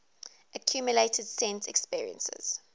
accumulated sense experiences